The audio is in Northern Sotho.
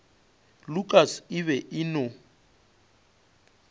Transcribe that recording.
lukas e be e no